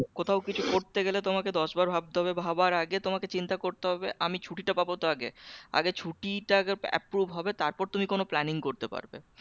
কোথাও কিছু করতে গেলে তোমাকে দশবার ভাবতে হবে ভাবার আগে তোমাকে চিন্তা করতে হবে আমি ছুটিটা পাবো তো আগে? আগে ছুটিটা আগে approve হবে তারপর তুমি কোন planning করতে পারবে